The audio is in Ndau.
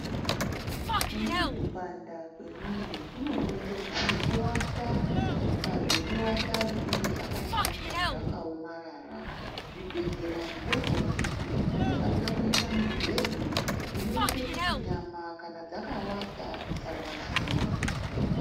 Kumweni kupanda kwemwiri kunokonzerwa ngekuwata pazvekuwata zvinenge zvakashata, zvakaomarara. Zvibhedhlera zvidoko nezvikuru zvinofanika kuita mibhedhu inoite kuti kana nyama dzakawata dzisarwadziwa.